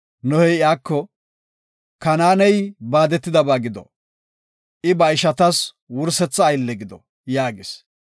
Nohey iyako, “Kanaaney baadetidaba gido! I ba ishatas wursetha aylle gido” yaagis.